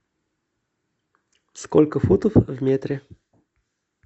сколько футов в метре